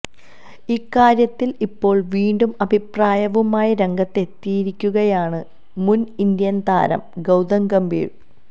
ഇക്കാര്യത്തില് ഇപ്പോള് വീണ്ടും അഭിപ്രായവുമായി രംഗത്തെത്തിയിരിക്കുകയാണ് മുന് ഇന്ത്യന് താരം ഗൌതം ഗംഭീര്